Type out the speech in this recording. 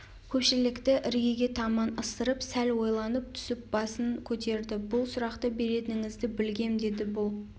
көпшікті іргеге таман ысырып сәл ойлана түсіп басын көтерді бұл сұрақты беретініңізді білгем деді бұл